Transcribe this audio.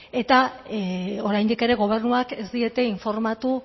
eta oraindik ere gobernuak ez diete informatu